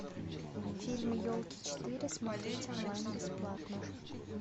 фильм елки четыре смотреть онлайн бесплатно